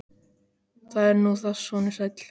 Það er nú það, sonur sæll